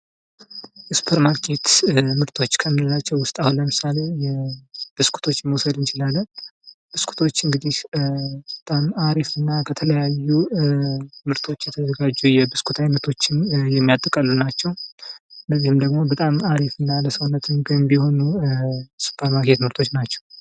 ከሱፐርማርኬት ምርቶች ከምንላቸው ውስጥ አሁን ለምሳሌ፦ ብስኩቶችን መውሰድ እንችላለን ፤ ብስኩቶች እንግዲህ በጣም አሪፍ እና ከተለያዩ ምርቶች የተዘጋጁ የብስኩት አይነቶችን የሚያጠቃልሉ ናቸው ። እነዚህም ደግሞ በጣም አሪፍ እና ለሰውነት ገንቢ የሆኑ የሱፐርማርኬት ምርቶች ናቸው ።